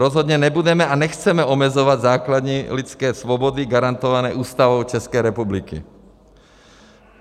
Rozhodně nebudeme a nechceme omezovat základní lidské svobody garantované Ústavou České republiky.